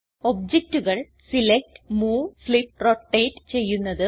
ഒബ്ജക്റ്റുകൾ select move flip rotate ചെയ്യുന്നത്